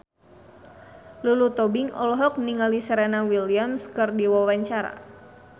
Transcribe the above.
Lulu Tobing olohok ningali Serena Williams keur diwawancara